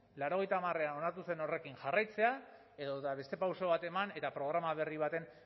laurogeita hamarean onartu zen horrekin jarraitzea edota beste pauso bat eman eta programa berri baten